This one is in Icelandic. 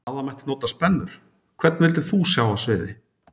Að það mætti nota spennur Hvern vildir þú sjá á sviði?